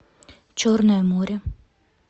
черное море